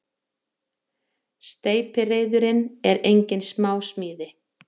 Steypireyðurin er engin smásmíði.